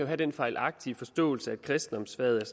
have den fejlagtige forståelse at kristendomsfaget er